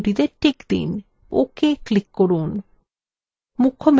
ok click করুন